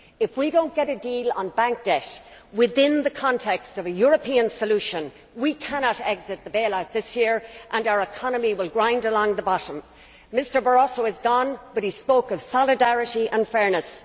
If we do not get a deal on bank debt within the context of a European solution we cannot exit the bail out this year and our economy will grind along the bottom. Mr Barroso has gone but he spoke of solidarity and fairness.